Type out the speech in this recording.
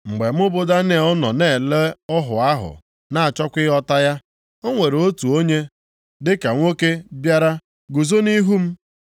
Mgbe mụ bụ Daniel nọ na-ele ọhụ ahụ na-achọkwa ịghọta ya, o nwere otu onye dịka nwoke bịara guzo nʼihu m.